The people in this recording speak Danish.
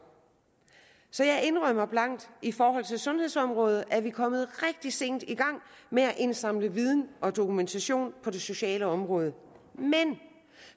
så jeg indrømmer blankt i forhold til sundhedsområdet er vi kommet rigtig sent i gang med at indsamle viden og dokumentationen på det sociale område men